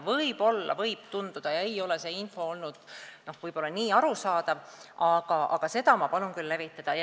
Võib-olla ei ole see info olnud arusaadav, aga seda ma palun küll levitada.